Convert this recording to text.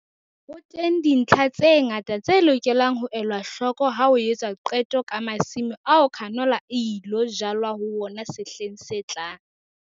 Ho teng dintlha tse ngata tse lokelang ho elwa hloko ha ho etswa qeto ka masimo ao canola e ilo jalwa ho wona sehleng se tlang.